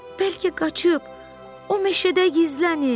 Bəlkə qaçıb o meşədə gizlənib?